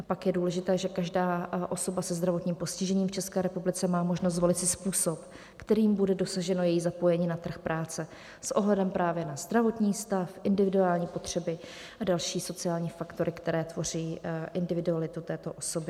A pak je důležité, že každá osoba se zdravotním postižením v České republice má možnost zvolit si způsob, kterým bude dosaženo její zapojení na trh práce s ohledem právě na zdravotní stav, individuální potřeby a další sociální faktory, které tvoří individualitu této osoby.